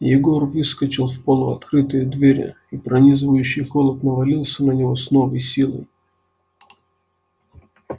егор выскочил в полуоткрытые двери и пронизывающий холод навалился на него с новой силой